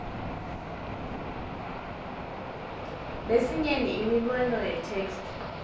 lesinyenti imibono yetheksthi